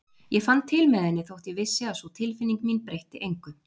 Ég fann til með henni þótt ég vissi að sú tilfinning mín breytti engu.